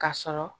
Ka sɔrɔ